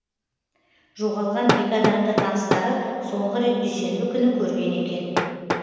жоғалған екі адамды таныстары соңғы рет дүйсенбі күні көрген екен